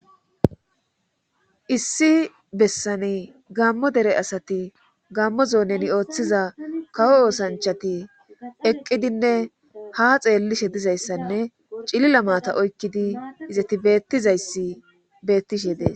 issi bessani gammo dere asati gammo zooneni ooththiza kawo oosanchati eqqidinne ha xeellishe dizayssanne cilila maata oykkidi izeti bettizayssi bettishe dees.